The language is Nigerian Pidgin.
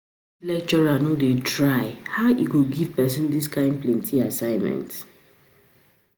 lecturer no dey try. How e go give person dis kin plenty assignment?